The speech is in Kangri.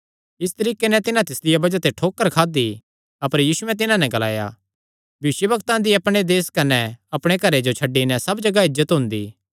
इस तरीके नैं तिन्हां तिसदिया बज़ाह ते ठोकर खादी अपर यीशुयैं तिन्हां नैं ग्लाया भविष्यवक्ता दी अपणे देस कने अपणे घरे जो छड्डी नैं सब जगाह इज्जत हुंदी